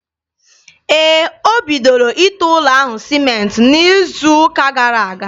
Ee, o bidoro ite ụlọ ahụ sịmentị n'izu ụka gara aga.